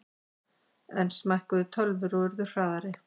Enn smækkuðu tölvur og urðu hraðari.